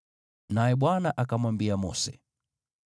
Naye Bwana akamwambia Mose,